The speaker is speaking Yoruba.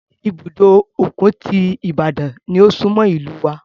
Ibùdó òkun ti Ibadan ni ó súnmọ́ ìlúu wa.